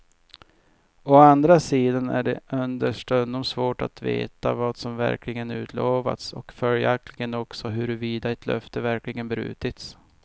Å andra sidan är det understundom svårt att veta vad som verkligen utlovats och följaktligen också huruvida ett löfte verkligen brutits.